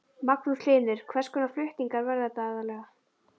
Magnús Hlynur: Hvers konar flutningar verða þetta aðallega?